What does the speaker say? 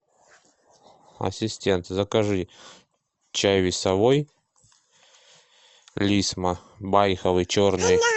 ассистент закажи чай весовой лисма байховый черный